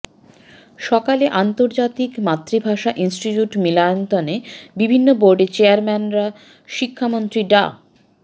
সকালে আন্তর্জাতিক মাতৃভাষা ইনস্টিটিউট মিলনায়তনে বিভিন্ন বোর্ডের চেয়ারম্যানরা শিক্ষামন্ত্রী ডা